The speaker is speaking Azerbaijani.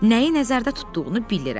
Nəyi nəzərdə tutduğunu bilirəm.